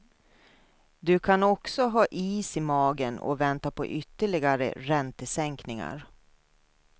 Du kan också ha is i magen och vänta på ytterligare räntesänkningar.